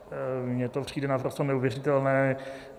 Mně to přijde naprosto neuvěřitelné.